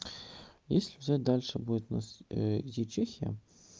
если взять дальше будет у нас идти чехия